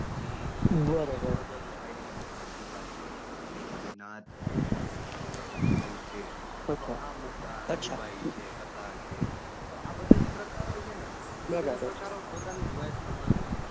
પછી એની અંદર તમે જોવા જાવ તો શાયરી ની અંદર કતીરા છે પછી નાદ છે કે ગઝલ છે તો આમ અમુક છે તો આ બધા જે પ્રકારો છે ને એ પ્રકારો પોતાની રિવાજ પ્રમાણે,